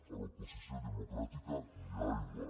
a l’oposició democràtica ni aigua